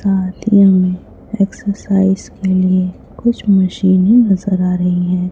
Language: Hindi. साथ ही हमें एक्सरसाइज के लिए कुछ मशीनें नजर आ रही है।